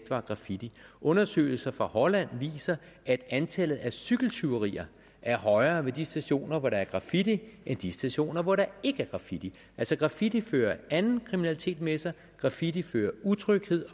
var graffiti undersøgelser fra holland viser at antallet af cykeltyverier er højere ved de stationer hvor der er graffiti ved de stationer hvor der ikke er graffiti altså graffiti fører anden kriminalitet med sig graffiti fører utryghed